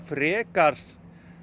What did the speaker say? frekar